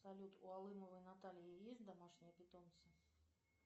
салют у алымовой натальи есть домашние питомцы